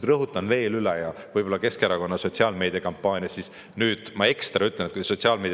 Ma rõhutan veel üle ja nüüd ma ekstra Keskerakonnale ütlen, et kui te sotsiaalmeedias